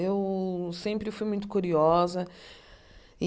Eu sempre fui muito curiosa. E